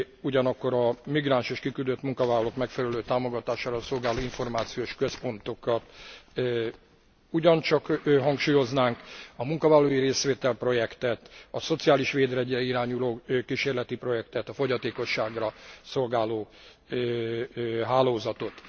Ugyanakkor a migráns és kiküldött munkavállalók megfelelő támogatására szolgáló információs központokat ugyancsak hangsúlyoznánk. A munkavállalói részvétel projektet, a szociális védjegyre irányuló kísérleti projektet, a fogyatékosságra szolgáló hálózatot.